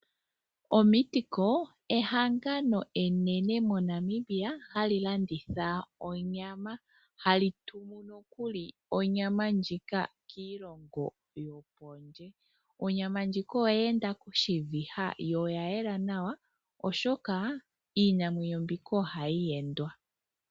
Omeatco ehangano enene moNamibia hali landitha onyama. Hali tumu nokuli onyama ndjika kiilongo yokondje. Onyama ndjika oyeenda koshiviha yo oyayela nawa oshoka iinamwenyo mbika ohayi wendwa.